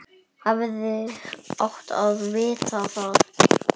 Hefði átt að vita það.